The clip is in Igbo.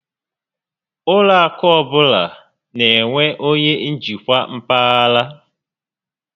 Ụlọ akụ ọbụla n'enwe onyé njikwa mpaghara